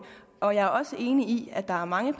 og jeg er også enig i at der er mange